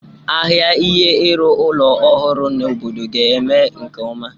Ahịa ihe ịrụ ụlọ ọhụrụ n'obodo ga-eme nke ọma.